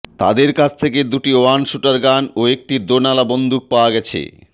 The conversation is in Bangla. তাদের কাছ থেকে দুটি ওয়ান শুটারগান ও একটি দোনালা